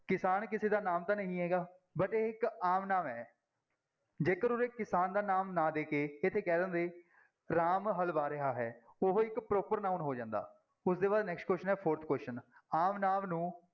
ਕਿਸਾਨ ਕਿਸੇ ਦਾ ਨਾਮ ਤਾਂ ਨਹੀਂ ਹੈਗਾ ਇੱਕ ਆਮ ਨਾਮ ਹੈ ਜੇਕਰ ਉਰੇ ਕਿਸਾਨ ਦਾ ਨਾਮ ਨਾ ਦੇ ਕੇ ਇੱਥੇ ਕਹਿ ਦਿੰਦੇ ਰਾਮ ਹਲ ਵਾਹ ਰਿਹਾ ਹੈ, ਉਹ ਇੱਕ proper noun ਹੋ ਜਾਂਦਾ, ਉਸਦੇ ਬਾਅਦ next question ਹੈ fourth question ਆਮ ਨਾਂਵ ਨੂੰ